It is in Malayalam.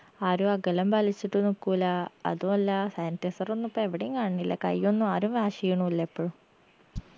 ആരും അകലം പാലിച്ചിട്ടു നിക്കൂലാ അതു അല്ല sanitiser ഒന്നു ഇപ്പെവിടേം കാണണില്ല കയ്യൊന്നു ആരും wash എയ്യണുല്ല ഇപ്പഴും